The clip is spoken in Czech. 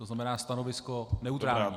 To znamená, stanovisko neutrální.